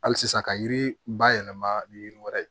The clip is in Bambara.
Hali sisan ka yiri bayɛlɛma ni yiri wɛrɛ ye